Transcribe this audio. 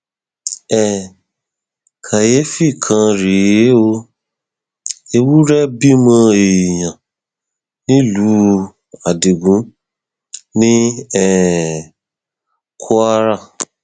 um káyééfì kan rèé o ewúrẹ bímọ èèyàn nílùú adigun ní um kwara